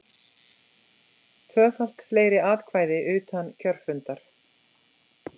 Tvöfalt fleiri atkvæði utan kjörfundar